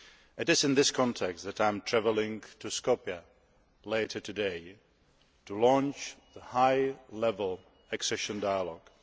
It is in this context that I am travelling to Skopje later today to launch the high level accession dialogue.